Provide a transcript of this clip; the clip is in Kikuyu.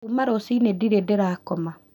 Kuma rũcinĩ ndirĩ ndĩrakoma